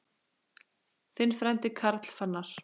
Þinn frændi, Karl Fannar.